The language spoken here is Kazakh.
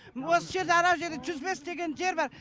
осы жерде анау жерде жүз бес деген жер бар